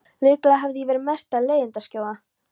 Líklega hefi ég verið mesta leiðindaskjóða.